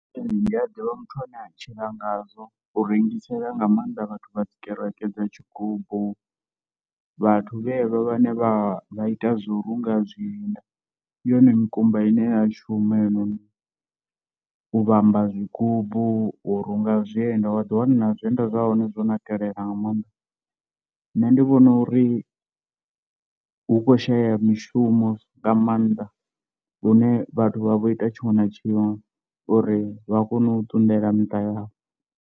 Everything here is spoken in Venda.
Ee ndi a ḓivha muthu ane a tshila ngazwo, u rengisela nga maanḓa vhathu vha dzi kereke dza tshigumbu, vhathu vhevha vhane vha vha ita zwa u runga zwienda, ndi yone mikumba ine ya shuma heinoni u vhamba zwigubu urunga zwienda wa ḓiwana na zwienda zwa hone zwo nakelela nga maanḓa, nṋe ndi vhona uri hu kho shayeya mishumo nga maanḓa lune vhathu vha vha vho ita tshiṅwe na tshiṅwe uri vha kone u ṱunḓela miṱa yavho.